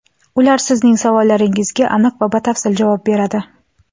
Ular sizning savollaringizga aniq va batafsil javob beradi.